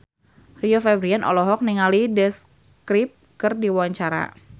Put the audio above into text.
Rio Febrian olohok ningali The Script keur diwawancara